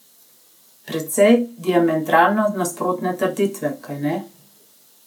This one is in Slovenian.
Precej diametralno nasprotne trditve, kajne?